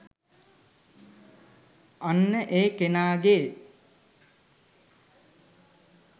අන්න ඒ කෙනාගේ